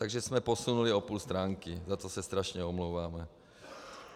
Takže jsme posunuli o půl stránky, za to se strašně omlouváme.